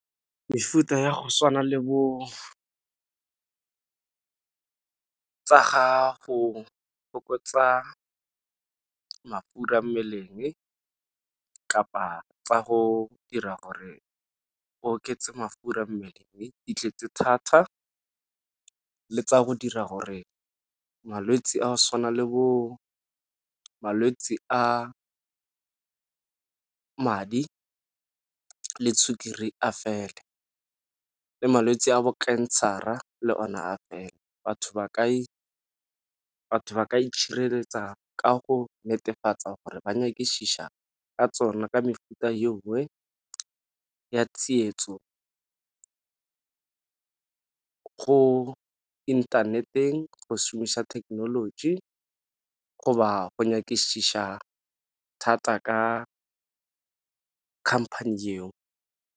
Mefuta ya go tshwana le bo tsa ga go fokotsa mafura mmeleng, kapa tsa go dira gore o oketsa mafura a mmeleng di tletse thata le tsa go dira gore malwetse a go tshwana le bo malwetse a madi le sukiri a fele le malwetse a bo cancer-a le one a fele. Batho ba ka itshireletša ka go netefatsa gore ba nyakišiša ka tsona, ka mefuta ya tsietso go inthaneteng go šomisa thekenoloji go ba nyakišiša thata ka company eo.